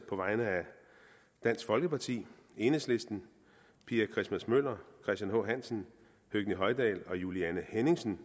på vegne af dansk folkeparti enhedslisten pia christmas møller christian h hansen høgni hoydal og juliane henningsen